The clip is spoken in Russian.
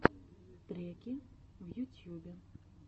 треки в ютьюбе